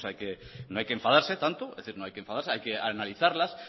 no hay que enfadarse tanto es decir no hay que enfadarse hay que analizarlas